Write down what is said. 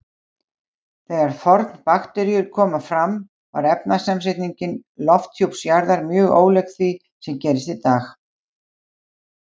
Þegar fornbakteríur komu fram var efnasamsetning lofthjúps jarðar mjög ólík því sem gerist í dag.